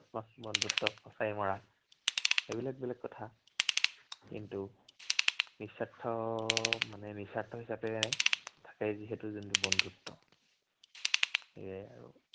false বন্ধুত্ব, ফঁচাই মৰা, সেইবিলাক বেলেগ কথা। কিন্তু, নিস্বাৰ্থ, মানে নিস্বাৰ্থ হিচাপে থাকে যিহেতু যোনটো বন্ধুত্ব। সেয়েই আৰু।